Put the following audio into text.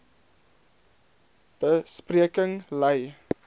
be spreking lei